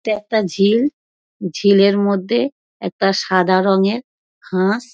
এটা একটা ঝিল ঝিলের মধ্যে একটা সাদা রঙের হাঁস।